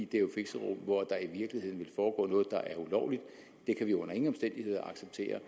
det er jo fixerum hvor der i virkeligheden foregår noget der er ulovligt det kan vi under ingen omstændigheder acceptere